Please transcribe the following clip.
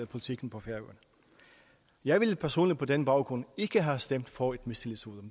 politikken på færøerne jeg ville personligt på den baggrund ikke have stemt for et mistillidsvotum